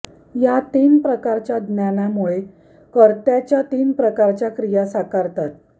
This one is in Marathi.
या तीन प्रकारच्या ज्ञानामुळे कर्त्याच्या तीन प्रकारच्या क्रिया साकारतात